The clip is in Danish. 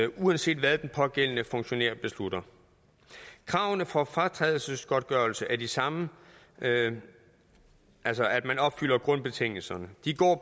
uanset hvad den pågældende funktionær beslutter kravene for at få fratrædelsesgodtgørelse er de samme altså at man opfylder grundbetingelserne de går